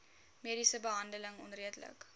mediese behandeling onredelik